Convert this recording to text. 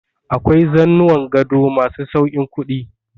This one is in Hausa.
Akwai zanuwan gado ma su sauƙin kuɗi.